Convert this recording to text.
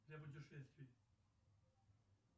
для путешествий